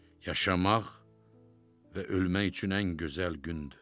Yaşamaq və ölmək üçün ən gözəl gündür.